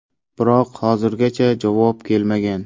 Biroq hozirgacha javob kelmagan.